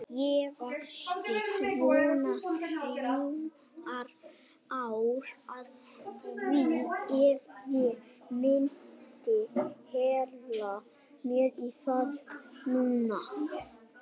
Ég væri svona þrjú ár að því ef ég myndi hella mér í það núna.